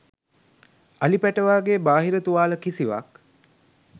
අලි පැටවාගේ බාහිර තුවාල කිසිවක්